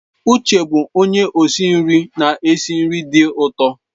Uche bụ onye osi nri na-esi nri dị ụtọ.